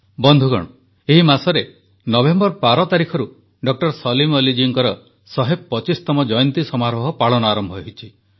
ବନ୍ଧୁଗଣ ଏହି ମାସରେ ନଭେମ୍ବର 12 ତାରିଖରୁ ଡକ୍ଟର ସଲିମ ଅଲି ଜୀଙ୍କର 125ତମ ଜୟନ୍ତୀ ସମାରୋହ ପାଳନ ଆରମ୍ଭ ହୋଇଛି